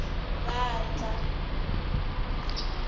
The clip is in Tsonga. vandla